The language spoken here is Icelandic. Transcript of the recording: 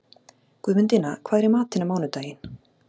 Guðmundína, hvað er í matinn á mánudaginn?